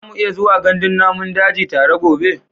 Za mu iya zuwa gandun namun daji tare gobe?